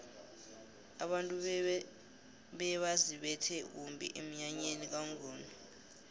abantu bebaziphethe kumbi emnyanyeni kwamnguni